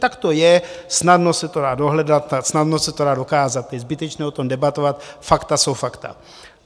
Tak to je, snadno se to dá dohledat, snadno se to dá dokázat, je zbytečné o tom debatovat, fakta jsou fakta.